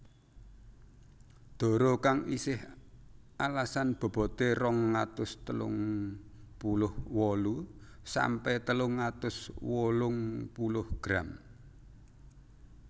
Dara kang isih alasan bobote rong atus telung puluh wolu sampe telung atus wolung puluh gram